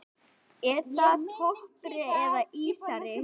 Er það toppari eða ísari?